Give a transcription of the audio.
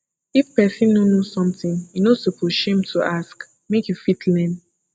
if pesin no know something e no suppose shame to ask make you fit learn